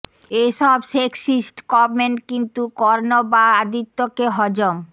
এ সব sexist comment কিন্তু কর্ণ বা আদিত্যকে হজম